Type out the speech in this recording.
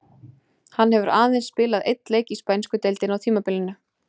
Hann hefur aðeins spilað einn leik í spænsku deildinni á tímabilinu.